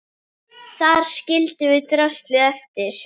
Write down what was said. Þar skildum við draslið eftir.